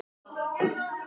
Vissi að mamma beið.